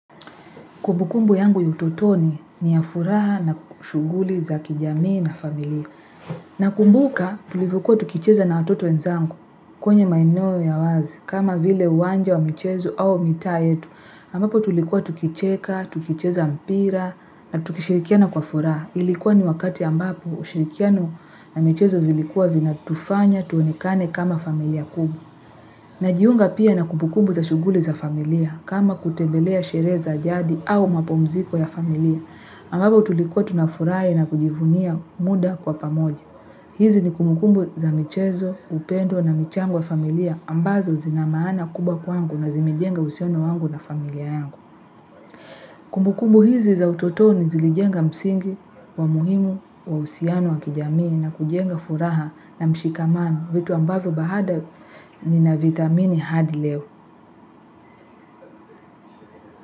Kumbukumbu yangu ya utotoni ni ya furaha na shughuli za kijamii na familia. Nakumbuka tulivyokuwa tukicheza na watoto wenzangu kwenye maeneo ya wazi kama vile uwanja wa michezo au mitaa yetu. Ambapo tulikuwa tukicheka, tukicheza mpira na tukishirikiana kwa furaha. Ilikuwa ni wakati ambapo ushirikiano na michezo vilikuwa vinatufanya tuonekane kama familia kubwa. Najiunga pia na kumbukumbu za shughuli za familia kama kutembelea sherehe za jadi au mapumziko ya familia ambapo tulikuwa tunafurahi na kujivunia muda kwa pamoja. Hizi ni kumbukumbu za michezo, upendo na michango ya familia ambazo zinamaana kubwa kwangu na zimejenga uhusiano wangu na familia yangu. Kumbukumbu hizi za utotoni zilijenga msingi wa muhimu wa uhusiano wa kijamii na kujenga furaha na mshikamano vitu ambavyo baada ni na vithamini hadi leo.